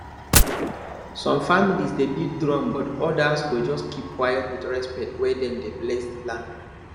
some families dey beat drum but others go just keep quiet with respect when dem dey bless the land